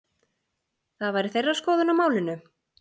Það væri þeirra skoðun á málinu?